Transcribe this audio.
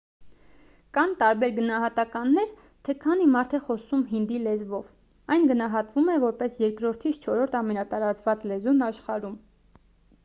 կան տարբեր գնահատականներ թե քանի մարդ է խոսում հինդի լեզվով այն գնահատվում է որպես երկրորդից չորրորդ ամենատարածված լեզուն աշխարհում